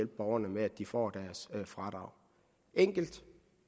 borgerne med at de får deres fradrag enkelt